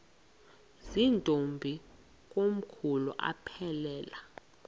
zirntombi komkhulu aphelela